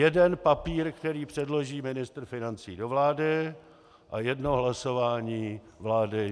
Jeden papír, který předloží ministr financí do vlády, a jedno hlasování vlády.